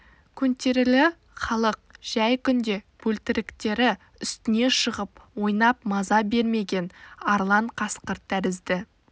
көнтерілі халық жәй күнде бөлтіріктері үстіне шығып ойнап маза бермеген арлан қасқыр тәрізді